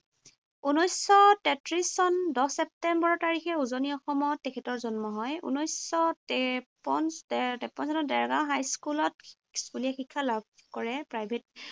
ঊনৈশশ তেত্ৰিশ চন, দহ ছেপ্টেম্বৰ তাৰিখে উজনি অসমত তেখেতৰ জন্ম হয়। ঊনৈশশ তেপন তেপন চনত দেৰগাওঁ হাইস্কুলত স্কুলীয়া শিক্ষা লাভ কৰে। প্ৰাইভেট